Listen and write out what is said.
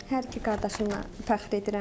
Hər iki qardaşımla fəxr edirəm.